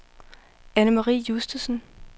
Annemarie Justesen